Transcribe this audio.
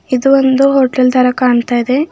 ಇದು ಒಂದು ಹೊಟೇಲ್ ತರ ಕಾಣ್ತಾ ಇದೆ.